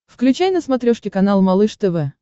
включай на смотрешке канал малыш тв